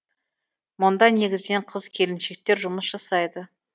мұнда негізінен қыз келіншектер жұмыс жасайды